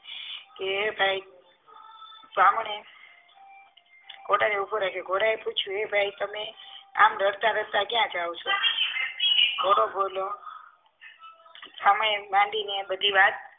કે ભાઈ બ્રાહ્મણે ઘોડા એ ઊભો રાખ્યો ઘોડા એ પૂછ્યું એ ભાઈ તમે આમ રડતા રડતા ક્યાં જાવ છો ઘોડો બોલ્યો આમાં એમ માંડીને એમ બધી વાત